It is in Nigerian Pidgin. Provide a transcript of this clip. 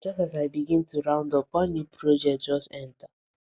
just as i begin to round up one new project request just enter